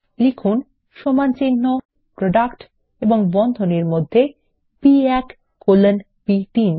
এখানে লিখুন প্রোডাক্ট এবং বন্ধনীর মধ্যে B1 কোলন বি3